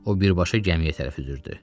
O birbaşa gəmiyə tərəf üzürdü.